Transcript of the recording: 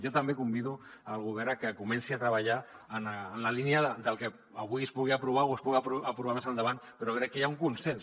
jo també convido el govern a que comenci a treballar en la línia del que avui es pugui aprovar o es pugui aprovar més endavant però crec que hi ha un consens